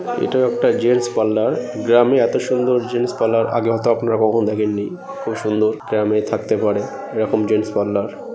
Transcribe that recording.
এটা একটা gents parlour গ্রামে এত সুন্দর জেন্টস পার্লার আগে হয়তো আপনারা কখনও দেখেননি খুব সুন্দর গ্রামে থাকতে পারে এরকম জেন্টস পার্লার ।